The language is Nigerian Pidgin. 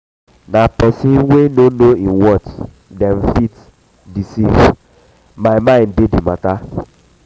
na pesin wey no know im worth dem fit fit deceive my mind dey di mata.